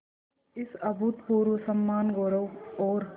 इस अभूतपूर्व सम्मानगौरव और